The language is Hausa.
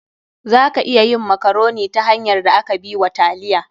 Za a iya yin makaroni ta hanyar da aka bi wa taliya.